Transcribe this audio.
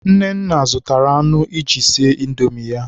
Nnanna zụtara anụ iji sie Indomi ya.